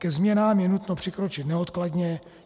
Ke změnám je nutno přikročit neodkladně.